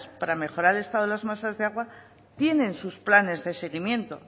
para mejorar el estado de las masas de agua tienen sus planes de seguimiento